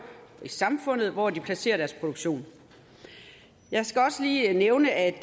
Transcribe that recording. og i samfundet hvor de placerer deres produktion jeg skal også lige nævne at